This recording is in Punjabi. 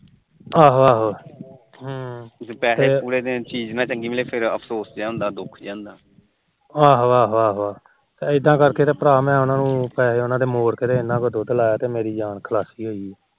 ਆਹੋ ਆਹੋ ਇਦਾ ਕਰਕੇ ਤੇ ਭਰਾ ਉਹਨਾ ਨੂੰ ਪੈਹੇ ਉਹਨਾ ਦੇ ਮੋੜ ਕੇ ਤੇ ਮੇਰੀ ਯਾਨ ਸੁਲਾਖੀ ਹੋਈ